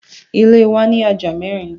Ile wa ni aja mẹrin